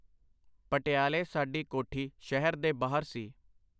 ਪਟਿਆਲੇ ਸਾਡੀ ਕੋਠੀ ਸ਼ਹਿਰ ਦੇ ਬਾਹਰ ਸੀ.